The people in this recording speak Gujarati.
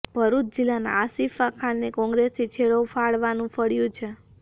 ભરૂચ જિલ્લાના આસિફા ખાનને કોંગ્રેસથી છેડો ફાડવાનું ફળ્યું છે